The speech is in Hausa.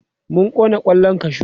mun Kona kwallan kashu